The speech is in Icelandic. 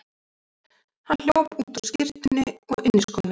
Hann hljóp út á skyrtunni og inniskónum.